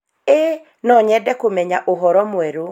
Ĩĩ, no nyende kũmenya ũhoro mwerũ